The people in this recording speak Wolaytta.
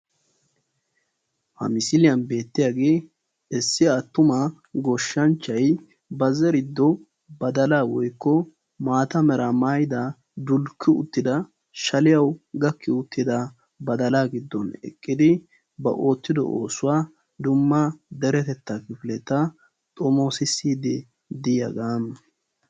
Ha misiliyan beettiyage issi attuma goshshanchchay ba zeriddo badalaa woykko maata meraa maayida dulkki uttida shaliyawu gakki uttida badalaa giddon eqqidi ba oottido oosuwa dumma deretetaa kifleta xomoosissiidi diyagaa.